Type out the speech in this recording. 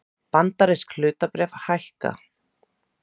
Bandarísk hlutabréf hækka